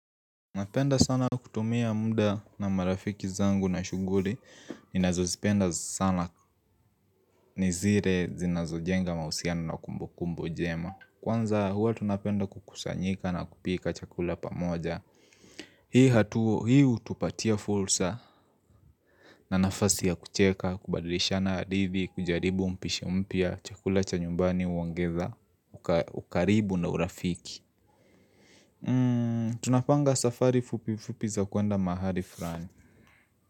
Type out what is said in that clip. Napenda sana kutumia muda na marafiki zangu na shuguli ninazozipenda sana ni zire zinazojenga mahusiana na kumbu kumbu jema Kwanza huwa tunapenda kukusanyika na kupika chakula pamoja Hii hatuo hi hutupatia fursa na nafasi ya kucheka kubadilishana hadithi kujaribu mpishi mpya chakula cha nyumbani uongeza ukaribu na urafiki Tunapanga safari fupi fupi za kuenda mahali fulani.